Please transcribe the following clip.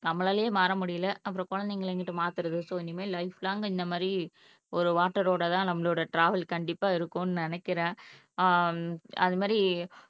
நம்மளாலயே மாற முடியல அப்பறம் குழந்தைகளை எங்கிட்டு மாத்தறது, சோ இனிமேல் லைஃப் லாங் இந்த மாதிரி ஒரு வாட்டரோட தான் நம்மளோட டிராவல் கண்டிப்பா இருக்கும்னு நினைக்கிறேன் ஆஹ் ஹம் அது மாதிரி